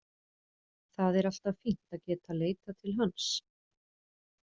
Það er alltaf fínt að geta leitað til hans.